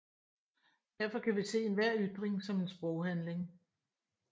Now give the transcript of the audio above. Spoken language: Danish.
Derfor kan vi se enhver ytring som en sproghandling